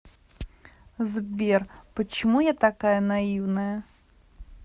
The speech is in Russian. сбер почему я такая наивная